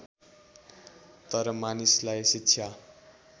तर मानिसलाई शिक्षा